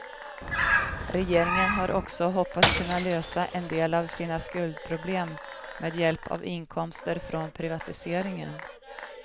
Regeringen har också hoppats kunna lösa en del av sina skuldproblem med hjälp av inkomster från privatiseringen.